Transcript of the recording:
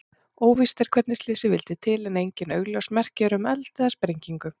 Óvíst er hvernig slysið vildi til en engin augljós merki eru um eld eða sprengingu.